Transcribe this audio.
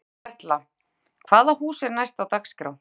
Berghildur Erla: Hvaða hús er er næst á dagskrá?